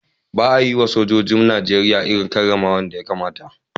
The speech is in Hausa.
Ba a yiwa sojojin Najeriya irin karramawar da suka kamata